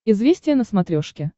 известия на смотрешке